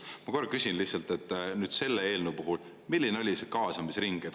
Ma korra küsin lihtsalt, nüüd selle eelnõu puhul, milline oli kaasamisring.